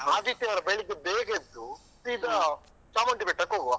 ಆದಿತ್ಯವಾರ ಬೆಳಿಗ್ಗೆ ಬೇಗ ಎದ್ದು ಸೀದ ಚಾಮುಂಡಿ ಬೆಟ್ಟಕ್ಕೆ ಹೋಗುವ.